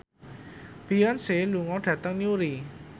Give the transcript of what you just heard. Beyonce lunga dhateng Newry